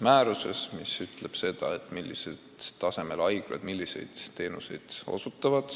määruses, mis sätestab, millisel tasemel haiglad milliseid teenuseid osutavad.